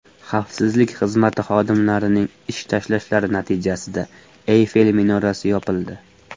Xavfsizlik xizmati xodimlarining ish tashlashlari natijasida Eyfel minorasi yopildi.